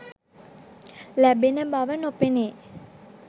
ලැබෙන බව නොපෙනේ